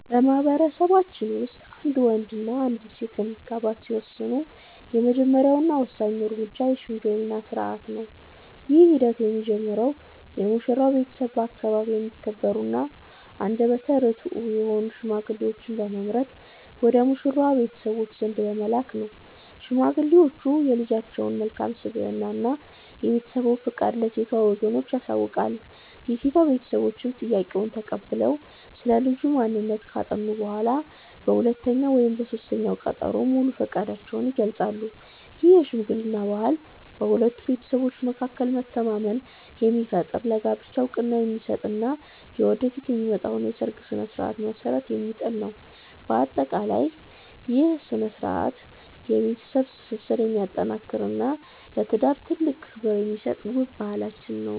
በማኅበረሰባችን ውስጥ አንድ ወንድና አንዲት ሴት ለመጋባት ሲወስኑ፣ የመጀመሪያውና ወሳኙ እርምጃ የሽምግልና ሥርዓት ነው። ይህ ሂደት የሚጀምረው የሙሽራው ቤተሰቦች በአካባቢያቸው የሚከበሩና አንደበተ ርትዑ የሆኑ ሽማግሌዎችን በመምረጥ ወደ ሙሽራዋ ቤተሰቦች ዘንድ በመላክ ነው። ሽማግሌዎቹ የልጃቸውን መልካም ስብዕና እና የቤተሰቡን ፈቃድ ለሴቷ ወገኖች ያሳውቃሉ። የሴቷ ቤተሰቦችም ጥያቄውን ተቀብለው ስለ ልጁ ማንነት ካጠኑ በኋላ፣ በሁለተኛው ወይም በሦስተኛው ቀጠሮ ሙሉ ፈቃዳቸውን ይገልጻሉ። ይህ የሽምግልና ባህል በሁለቱ ቤተሰቦች መካከል መተማመንን የሚፈጥር፣ ለጋብቻው ዕውቅና የሚሰጥ እና ወደፊት ለሚመጣው የሰርግ ሥነ ሥርዓት መሠረት የሚጥል ነው። በአጠቃላይ፣ ይህ ሥርዓት የቤተሰብን ትስስር የሚያጠናክርና ለትዳር ትልቅ ክብር የሚሰጥ ውብ ባህላችን ነው።